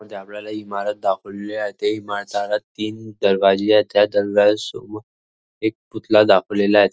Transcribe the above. मध्ये आपल्याला इमारत दाखवलेली आहे त्या इमारताला तीन दरवाजे आहेत त्या दरवाज्या समोर एक पुतळा दाखवलेला आहे.